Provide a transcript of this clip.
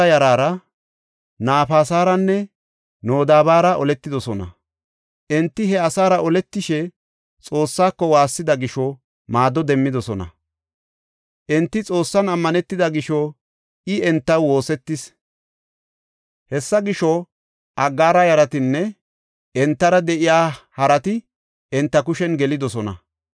Enti he asaara oletishe Xoossako waassida gisho, maado demmidosona. Enti Xoossan ammanetida gisho, I entaw woosetis. Hessa gisho, Aggaara yaratinne entara de7iya harati enta kushen gelidosona.